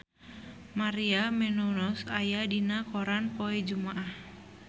Maria Menounos aya dina koran poe Jumaah